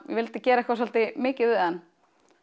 vildi gera eitthvað mikið við hann